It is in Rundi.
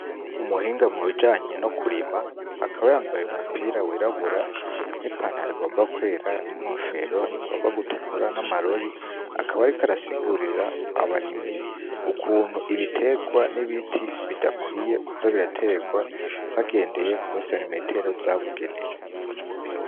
Umuhinga mubijanye no kurima akaba yambaye umupira wirabura n'ipantaro igomba kwera n'inkofero rigomba gutukura n'amarori akaba, ariko arasigurira abarimyi ukuntu ibiterwa n'ibiti bidakwiye kuza biraterwa bagendeye ku seremetero z'abugenewe.